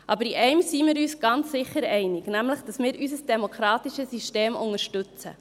In einem sind wir uns aber ganz sicher einig, nämlich darin, dass wir unser demokratisches System unterstützen.